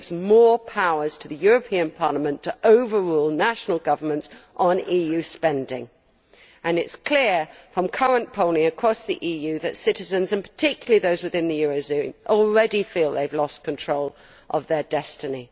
It gives more powers to the European Parliament to overrule national governments on EU spending and it is clear from current polling across the EU that citizens, and particularly those within the euro area, already feel they have lost control of their destiny.